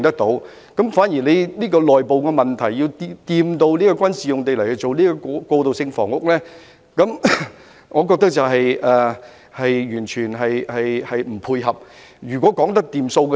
在處理這個內部問題時提及將軍事用地用作興建過渡性房屋，我覺得完全不妥。